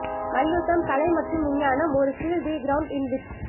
மல்யுத்தம் கலை மற்றும் விஞ்ஞானம் ஒரு ஸ்டீல் தி கிரவுண்ட் இன் விட்ஸ்